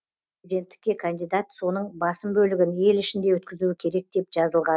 президенттікке кандидат соның басым бөлігін ел ішінде өткізуі керек деп жазылған